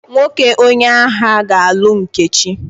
Nwoke onye agha ga-alụ Nkechi.